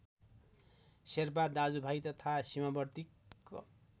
शेर्पा दाजुभाइ तथा सिमावर्ती क्